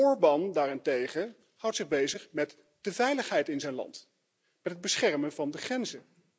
Orban daarentegen houdt zich bezig met de veiligheid in zijn land, met het beschermen van de grenzen.